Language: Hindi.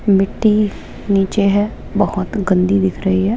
मिट्टी नीचे है बहोत गंदी दिख रही है।